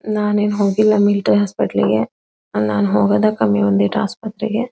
ನಾನೇನ್ ಹೋಗಿಲ್ಲ ಮಿಲಿಟರಿ ಹಾಸ್ಪಿಟಾಲಿಗೆ ನಾನ್ ಹೋಗೋದೇ ಕಮ್ಮಿ ಒಂದೀಟ ಆಸ್ಪತ್ರೆಗೆ.